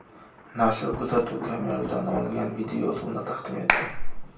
Nashr kuzatuv kameralaridan olingan videoyozuvni taqdim etdi.